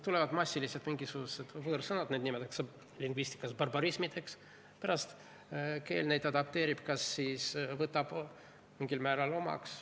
Tulevad massiliselt mingisugused võõrsõnad, neid nimetatakse lingvistikas barbarismideks, pärast keel neid adapteerib, võtab mingil määral omaks.